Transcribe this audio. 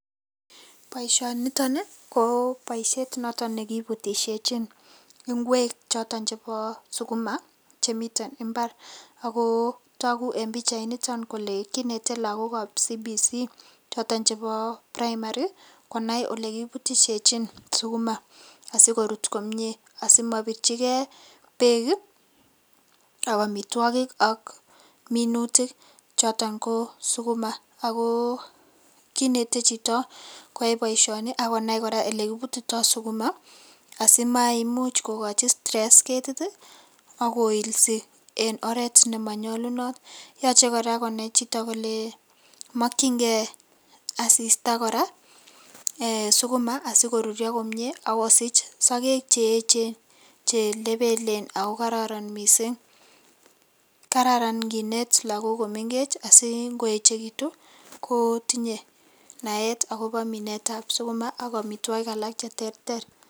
Boisioniton ko boisiet noto nekibutisiechin ingwek choto chebo suguma che miten imbar ago tagu en pichainito kole kinete lagokab CBC choton chebo Primari, konai olekibutisiechin suguma asikorut komie asimabirchike beek ii ak amitwogik ak minutik. Choton ko suguma ago kinete chito koyai boisioni ak konai kora olekibutito suguma simaimuch kogochi stress ketit ak koilsi en oret ne manyalunot. Yoche kora konai chito kole makyinge asista kora ee suguma, sikorurio komie ak kosich sagek che echen che lebelen ago kororon mising. Kararan nginet lagok komengech asingoechekitu, kotinye naet akobo minetab suguma ak amitwogik alak cheterter.